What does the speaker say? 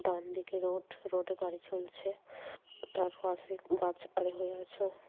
ডানদিকে road road এ গাড়ি চলছে তার পাশে গাছ আড়ে হয়ে আছে।